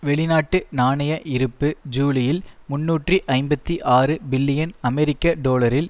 வெளிநாட்டு நாணய இருப்பு ஜூலியில் முன்னூற்று ஐம்பத்தி ஆறு பில்லியன் அமெரிக்க டொலரில்